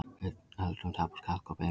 Við öldrun tapast kalk úr beinum.